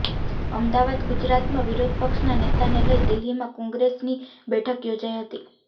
અમદાવાદઃ ગુજરાતમાં વિરોધ પક્ષના નેતાને લઇ દિલ્હીમાં કોંગ્રેસની બેઠક યોજાઇ હતી